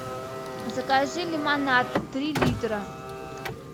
закажи лимонад три литра